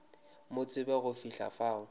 mo tsebe go fihla fao